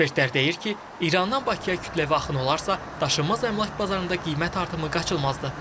Ekspertlər deyir ki, İrandan Bakıya kütləvi axın olarsa, daşınmaz əmlak bazarında qiymət artımı qaçılmazdır.